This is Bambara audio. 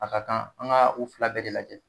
A ka kan an ga u fila bɛɛ de lajɛ